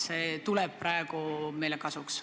See tuleb praegu meile kasuks.